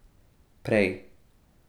Prej.